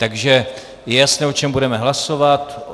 Takže je jasné, o čem budeme hlasovat.